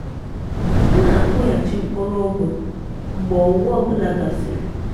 ha na-akụghachi mkpụrụ ugu mgbe owuwe ọ bụla gasịrị.